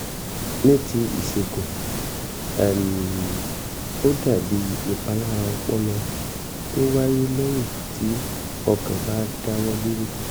ní ti ìṣègùn um ó dàbí ìpalára ọpọlọ tó wáyé lẹ́yìn tí ọkàn bá dáwọ́ dúró